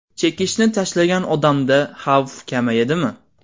Chekishni tashlagan odamda xavf kamayadimi?